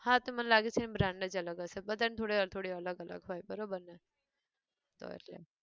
હા તો મને લાગે છે અમ brand જ અલગ હશે, બધાં ન થોડી થોડી અલગ અલગ હોય બરોબર ને? હશે